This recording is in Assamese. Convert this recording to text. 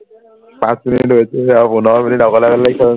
পাঁচ মিনিট হৈচেহে আৰু পোন্ধৰ মিনিট অকলে অকলে lecture মাৰিব